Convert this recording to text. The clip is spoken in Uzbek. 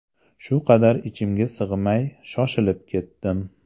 Shu qadar ichimga sig‘may, shoshilib ketdim.